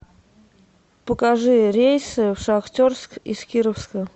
покажи рейсы в шахтерск из кировска